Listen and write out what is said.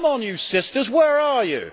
Come on, you sisters, where are you?